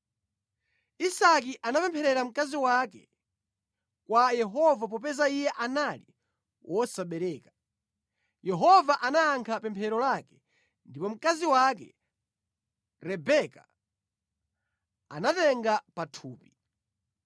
Isake anapempherera mkazi wake kwa Yehova popeza iye anali wosabereka. Yehova anayankha pemphero lake ndipo mkazi wake Rebeka anatenga pathupi.